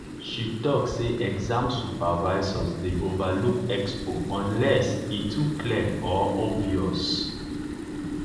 she talk say exam supervisors dey overlook expo unless e too clear or obvious.